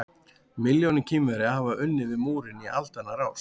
Milljónir Kínverja hafa unnið við múrinn í aldanna rás.